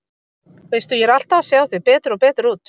Veistu. ég er alltaf að sjá þig betur og betur út.